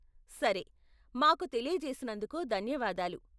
సరే, మాకు తెలియజేసినందుకు ధన్యవాదాలు.